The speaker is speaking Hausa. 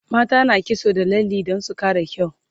mata na kitso da lalle Dan su Kara kyau